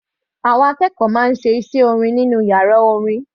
Àwọn akẹ́kọ̀ọ́ máa ń ṣe iṣẹ́ orin nínú yàrá orin.